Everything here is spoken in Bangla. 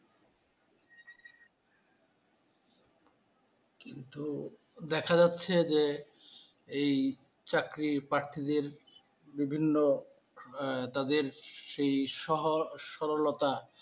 কিন্তু দেখা যাচ্ছে যে এই চাকরি প্রার্থীদের বিভিন্ন এ তাদের সেই সহ সরলতা।